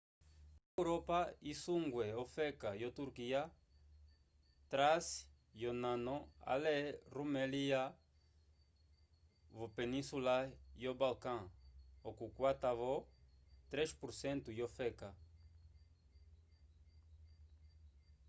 onepa yo europa isungwe ofeka yo turquia trace yonano ale rumelia vopeninsula yo balkan okukwata-vo 3% yofeka